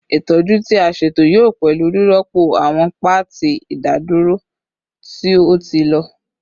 Itọju ti a ṣeto yoo pẹlu rirọpo awọn paati idadoro ti o ti lọ